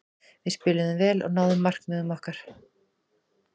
Við spiluðum vel og náðum markmiðum okkar.